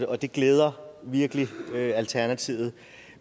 og det glæder virkelig alternativet